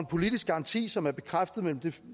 politisk garanti som er bekræftet